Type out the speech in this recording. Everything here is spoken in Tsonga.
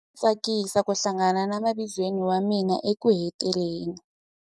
A swi tsakisa ku hlangana na mavizweni wa mina ekuheteleleni.